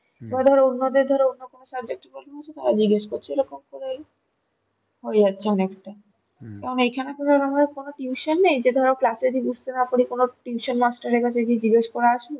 বা ধরো অন্য দের ধরো অন্য কোনো subject এ problem হচ্ছে তারা জিগেষ করছে হয়ে যাচ্ছে অনেকটা এইখানে তো কোনো রম কোনো tuition নেই ধরো class এ যদি বুঝতে যে কিছু বুঝতে না পারি tuition master এর কাছে জিজ্ঞাসা করে আসি